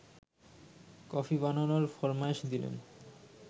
coffee বানানোর ফরমায়েশ দিলেন